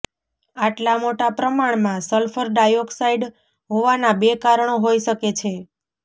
આટલા મોટા પ્રમાણમાં સલ્ફર ડાયોક્સાઇડ હોવાના બે કારણો હોઇ શકે છે